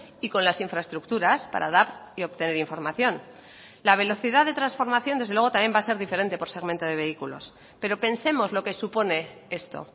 y con las infraestructuras para dar y obtener información la velocidad de transformación desde luego también va a ser diferente por segmento de vehículos pero pensemos lo que supone esto